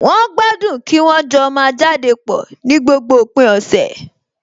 Wọ́n gbádùn kí wọ́n jọ máa jáde pọ̀ ní gbogbo òpin ọ̀sẹ̀